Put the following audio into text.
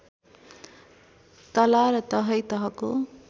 तला र तहै तहको